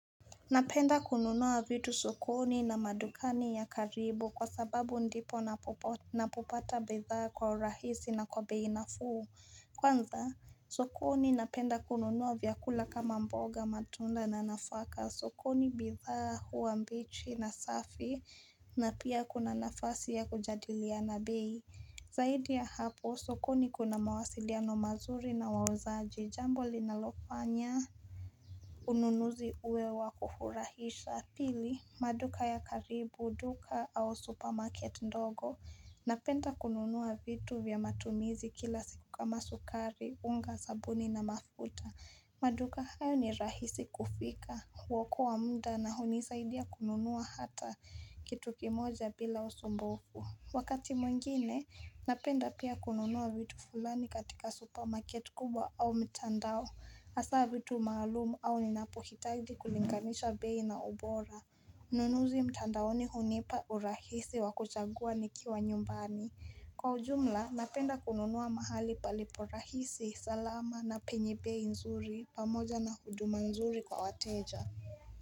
Napenda kununua vitu sukoni na madukani ya karibu kwa sababu ndipo napopata bidhaa kwa rahisi na kwa bei nafuu Kwanza sokoni napenda kununua vyakula kama mboga matunda na nafaka sokoni bidhaa huwa mbichi na safi na pia kuna nafasi ya kujadiliana bei Zaidi ya hapo sokoni kuna mawasiliano mazuri na wauzaji jambo linalofanya Ununuzi uwe wa kufurahisha Pili, maduka ya karibu, duka au supermarket ndogo Napenda kununua vitu vya matumizi kila siku kama sukari, unga, sabuni na mafuta maduka hayo ni rahisi kufika huokoa muda na hunisaidia kununua hata kitu kimoja bila usumbufu Wakati mwengine, napenda pia kununua vitu fulani katika supermarket kubwa au mtandao Asa vitu maalumu au ninapohitaji kulinganisha bei na ubora Ununuzi mtandaoni hunipa urahisi wakuchagua nikiwa nyumbani Kwa ujumla napenda kununua mahali palipo rahisi, salama na penye bei nzuri pamoja na huduma nzuri kwa wateja.